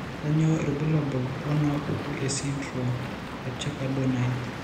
Kainyio irbulabul onaapuku esindirom eThakker Donnai?